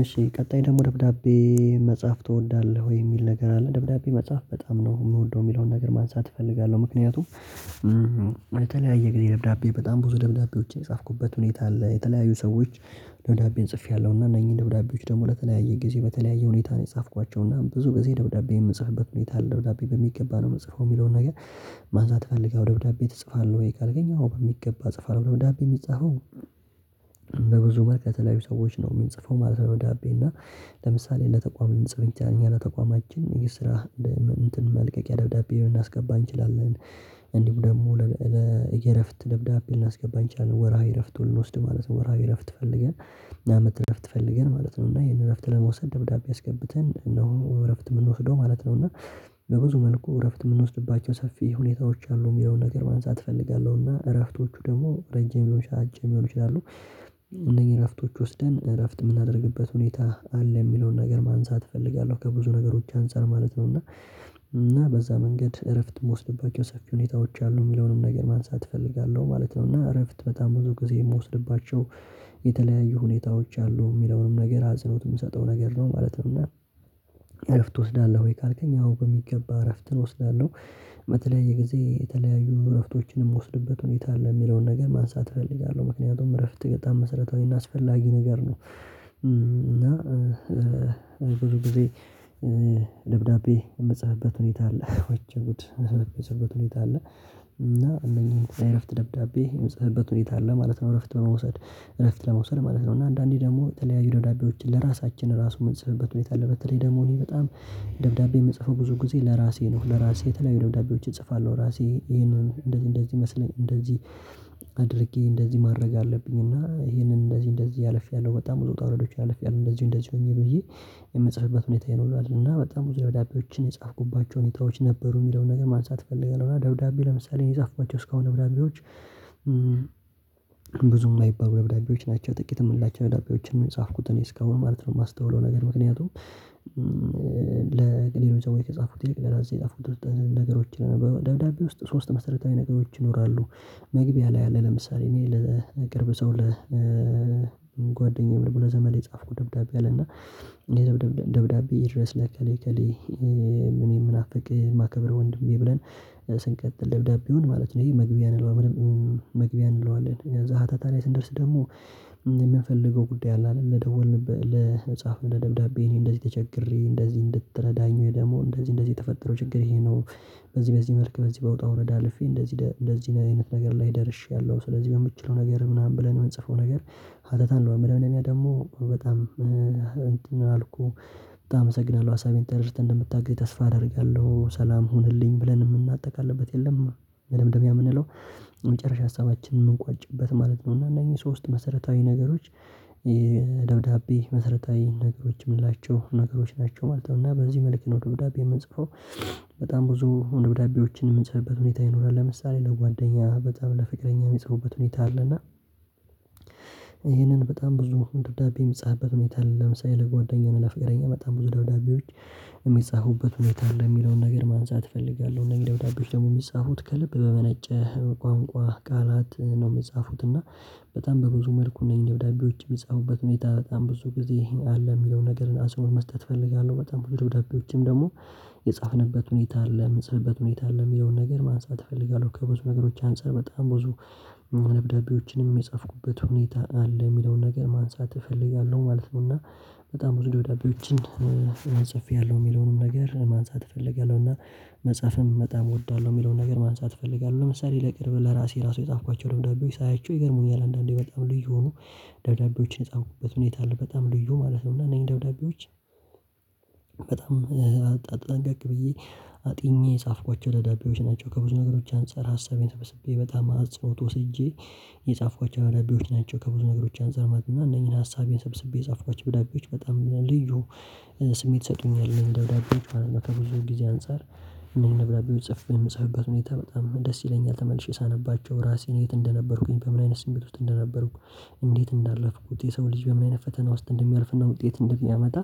እሺ ቀጣይ ደግሞ ደብዳቤ መጻፍ ትወዳለህ ወይ? የሚል ነገር አለ ደብዳቤ መጻፍ በጣም ነው የምወደው የሚለውን ነገር ማንሳት እፈልጋለሁ ምክንያቱም ለተለያየ ጊዜ ደብዳቤ በጣም ብዙ ደብዳቤዎች የጻፍኩበት ሁኔታ ላይ የተለያዩ ሰዎች ደብዳቤን ጽፌያለሁ እና እነዚህ ደብዳቤዎች ደግሞ ለተለያየ ጊዜ በተለያየ ሁኔታ ነው የጻፍኳቸው እና ብዙ ጊዜ ደብዳቤ የምጻፍበት ሁኔታ ደብዳቤ በሚገባ ነው የምጽፈው የሚለውን ነገር ማንሳት ትፈልጋለህ ደብዳቤ ትጽፋለህ ወይ? ካልከኝ በሚገባ ጽፏል ደብዳቤ የሚጻፈው በብዙ መልኩ ከተለያዩ ሰዎች ነው የምንጽፈው ማለት ነው ደብዳቤ እና ለምሳሌ ለተቋም ልንጽፍ እንችላለን እና ለተቋማችን ይሄ ስራ እንትን መልቀቂያ ደብዳቤ ልናስገባ እንችላለን እንዲሁ ደግሞ የእረፍት ደብዳቤ ልናስገባ ይቻላል ወርሃዊ እረፍት ሁሉ እንወስድ ማለት ነው ወርሃዊ እረፍት ፈልገን አመት እረፍት ፈልገን ማለት ነው እና ይሄን እረፍት ለመውሰድ ደብዳቤ አስገብተን እነሆ እረፍት የምንወስደው ማለት ነው እና በብዙ መልኩ እረፍት የምንወስድባቸው ሰፊ ሁኔታዎች አሉ የሚለውን ነገር ማንሳት እፈልጋለሁና እረፍቶቹ ደግሞ ረጅም ሊሆን ይችላል እነዚህ እረፍቶች ወስደን እረፍት የምናደርግበት ሁኔታ አለ የሚለውን ነገር ማንሳት እፈልጋለሁ ከብዙ ነገሮች አንፃር ማለት ነው እና በዛ መንገድ እረፍት የምወስድባቸው ሰፊ ሁኔታዎች አሉ የሚለውንም ነገር ማንሳት እፈልጋለሁ ማለት ነው እና እረፍት በጣም ብዙ ጊዜ የምወስድባቸው የተለያዩ ሁኔታዎች አሉ የሚለውንም ነገር አጽንኦት የምሰጠው ነገር ነው ማለት ነው እና እረፍት ትወስዳለህ ወይ? ካልከኝ አዎ በሚገባ እረፍትን እወስዳለሁ በተለያየ ጊዜ የተለያዩ እረፍቶችንም የምወስድበት ሁኔታ አለ የሚለውን ነገር ማንሳት እፈልጋለሁ ምክንያቱም እረፍት በጣም መሠረታዊና አስፈላጊ ነገር ነው እና ብዙ ደብዳቤ የምጽፍበት ሁኔታ አለ ወ ብድር የመተበት ሁኔታ አለ እና እንደኛ እረፍት ደብዳቤ የምጽፍበት ሁኔታ አለ ማለት ነው እረፍት በመውሰድ እረፍት ለመውሰድ ማለት ነው እና አንዳንዴ ደግሞ የተለያዩ ደብዳቤዎችን ለራሳችን ራሱ የምንጽፍበት ሁኔታ አለ በተለይ ደግሞ እኔ በጣም ደብዳቤ የምጽፈው ብዙ ጊዜ ለራሴ ነው ለራሴ የተለያዩ ደብዳቤዎችን እጽፋለሁ ራሴ ይሄንን እንደዚህ እንደዚህ ይመስለኛል እንደዚህ አድርጌ እንደዚህ ማድረግ አለብኝ እና ይሄንን እንደዚህ እንደዚህ አልፌያለሁ በጣም ብዙ ወጣት ወረዶች አልፌያለሁ ያሉ እንደዚሁ እንደዚሁ ሆኜ ብዬ የምጽፍበት ሁኔታ ይኖራል እና በጣም ብዙ ደብዳቤዎችን የጻፍኩባቸው ሁኔታዎች ነበሩ የሚለውን ነገር ማንሳት እፈልጋለሁ እና ደብዳቤ ለምሳሌ የጻፍኳቸው እስካሁን ደብዳቤዎች ብዙም አይባሉ ደብዳቤዎች ናቸው ጥቂት የምንላቸው ደብዳቤዎችን ነው የጻፍኩት እኔ እስካሁን ማለት ነው የማስተውለው ነገር ምክንያቱም ለቅጥር ወይ ከጻፉት የቅጥር ላይ የጻፉት ነገሮችን በደብዳቤ ውስጥ ሶስት መሰረታዊ ነገሮች ይኖራሉ መግቢያ ላይ ያለ ለምሳሌ እኔ ለቅርብ ሰው ለጓደኛዬ ምን ብሎ ዘመን የጻፍኩ ደብዳቤ አለና ደብዳቤ ድረስ ለቀሌ ቀሌ እኔ የምናፍቅ ማከበር ወንድሜ ብለን ስንቀጥል ደብዳቤውን ማለት ነው ይሄ መግቢያ እንለዋለን መግቢያ እንለዋለን ሀታታ ላይ ስንደርስ ደግሞ የምንፈልገው ጉዳይ አለ ለደወል ለመጻፍ ለደብዳቤ እኔ እንደዚህ ተቸግሬ እንደዚህ እንድትረዳኝ ወይ ደግሞ እንደዚህ እንደዚህ የተፈጠረው ችግሬ ይሄ ነው በዚህ በዚህ መልክ በዚህ በውጣ ወረዳ አልፌ እንደዚህ እንደዚህ አይነት ነገር ላይ ደርሼያለሁ ስለዚህ በምችለው ነገር ምናምን ብለን የምንጽፈው ነገር ሀተታን ነው ምናምን ደግሞ በጣም እንትን አልኩ በጣም አመሰግናለሁ ሀሳቤን ተደርግተን እንደምታግዘኝ ተስፋ አደርጋለሁ ሰላም ሁንልኝ ብለን የምናጠቃልበት የለም ደምደም የምንለው የመጨረሻ ሀሳባችንን የምንቋጭበት ማለት ነው እና እነኚህ ሶስት መሰረታዊ ነገሮች ደብዳቤ መሰረታዊ ነገሮች የምንላቸው ነገሮች ናቸው ማለት ነው እና በዚህ መልክ ነው ደብዳቤ የምንጽፈው በጣም ብዙ ደብዳቤዎችን የምንጽፍበት ሁኔታ ይኖራል ለምሳሌ ለጓደኛ በጣም ለፍቅረኛ የሚጽፉበት ሁኔታ አለና ይህንን በጣም ብዙ ደብዳቤ የሚጻፍበት ምንድነው ለምሳሌ ለጓደኛዬ ለፍቅረኛ በጣም ብዙ ደብዳቤዎች የሚጻፉበት ሁኔታ አለ የሚለውን ነገር ማንሳት እፈልጋለሁ ነገር ደግሞ የሚጻፉት ከልብ በመነጨ ቋንቋ ቃላት ነው የሚጻፉት እና በጣም በብዙ መልኩ ነኝ ደብዳቤዎች የሚጻፉበት ሁኔታ ብዙ ጊዜ አለ የሚለውን ነገርን አጽንኦት መስጠት እፈልጋለሁ በጣም ደብዳቤዎችም ደግሞ የጻፍንበት ሁኔታ አለ የምጽፍበት ሁኔታ አለ የሚለውን ነገር ማንሳት እፈልጋለሁ ከብዙ ነገሮች አንፃር በጣም ብዙ ምንብደቤዎችንም የጻፍኩበት ሁኔታ አለ የሚለውን ነገር ማንሳት እፈልጋለሁ ማለት ነው እና በጣም ወደ ዳብዳቤዎችን ጽፌያለሁ የሚለውንም ነገር ማንሳት እፈልጋለሁ እና መጽሐፍም በጣም እወዳለሁ የሚለውን ነገር ማንሳት እፈልጋለሁ ለምሳሌ ለቅርብ ለራሴ ራሱ የጻፍኳቸው ደብዳቤዎች ሳያቸው ይገርሙኛል አንዳንዴ በጣም ልዩ ሆኖ ደብዳቤዎችን የጣምኩበት ሁኔታ አለ በጣም ልዩ ማለት ነው እና እኔ ደብዳቤዎች በጣም አጠናቀቅ ብዬ አጥኜ የጻፍኳቸው ደዳቢዎች ናቸው ከብዙ ነገሮች አንፃር ሀሳቤን ተበስቤ በጣም አጽንኦት ወስጄ የጻፍኳቸው ደብዳቤዎች ናቸው ከብዙ ነገሮች አንዘርመድና እነኚህን ሀሳቤን ሰብስቤ የጻፍኳቸው ዳግላይዎች በጣም ልዩ ስሜት ይሰጡኛል ደብዳቤዎች ከብዙ ጊዜ አንፃር እነዚህን ደብዳቤዎች ጽፌ የምጻፉበት ሁኔታ በጣም ደስ ይለኛል ተመልሼ ሳነባቸው ራሴን የት እንደነበርኩኝ በምን አይነት ስሜት ውስጥ እንደነበርኩ እንዴት እንዳለፍኩት የሰው ልጅ በምን አይነት ፈተና ውስጥ እንደሚያልፍና ውጤት እንደሚያመጣ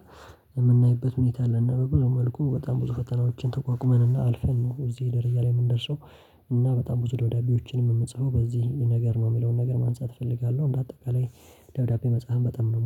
የምናይበት ሁኔታ አለና መልኩ በጣም ብዙ ፈተናዎችን ተቋቁመንና አልፈን ነው እዚህ ደረጃ ላይ የምንደርሰው እና በጣም ብዙ ደብዳቤዎችንም የምንጽፈው በዚህ ነገር ነው የሚለውን ነገር ማንጻት እፈልጋለሁ እንደ አጠቃላይ ደውዳቤ መጽሐፍ በጣም ነው የምወደው